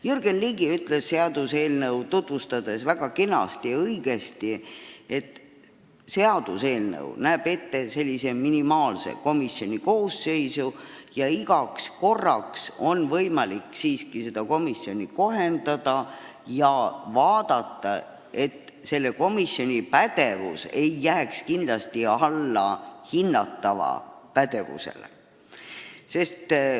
Jürgen Ligi ütles seaduseelnõu tutvustades väga kenasti ja õigesti, et eelnõu kirjutab ette komisjoni minimaalse nõutava koosseisu ja igaks korraks on võimalik seda koosseisu täiendada, vaadates, et selle pädevus ei jääks kindlasti alla hinnatava pädevusele.